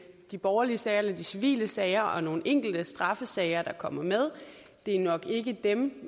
de borgerlige sager eller de civile sager og nogle enkelte straffesager der kommer med det er nok ikke dem